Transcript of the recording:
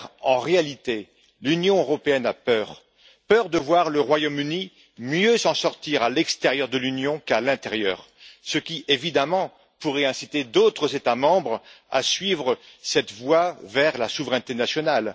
En réalité, l'Union européenne a peur, peur de voir le Royaume Uni mieux s'en sortir à l'extérieur de l'Union qu'à l'intérieur, ce qui, évidemment, pourrait inciter d'autres États membres à suivre cette voie vers la souveraineté nationale.